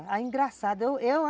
engraçado, eu